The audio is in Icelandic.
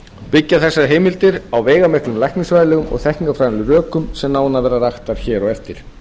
byggja þessar heimildir á veigamiklum læknisfræðilegum og þekkingarfræðilegum rökum sem nánar verða rakin hér á eftir